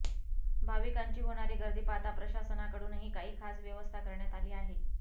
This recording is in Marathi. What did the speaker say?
भाविकांची होणारी गर्दी पाहता प्रशासनाकडूनही काही खास व्यवस्था करण्यात आली आहे